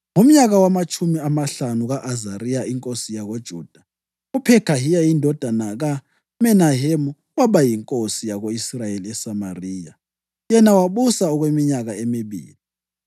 Ngomnyaka wamatshumi amahlanu ka-Azariya inkosi yakoJuda, uPhekhahiya indodana kaMenahemu waba yinkosi yako-Israyeli eSamariya, yena wabusa okweminyaka emibili.